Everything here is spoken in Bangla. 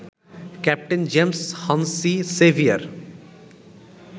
captain James Hennessy severe